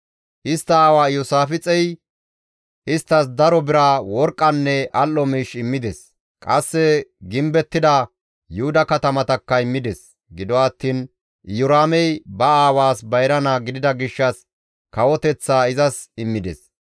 Istta aawa Iyoosaafixey isttas daro bira, worqqanne al7o miish immides; qasse gimbettida Yuhuda katamatakka immides; gido attiin Iyoraamey ba aawaas bayra naa gidida gishshas kawoteththaa izas immides.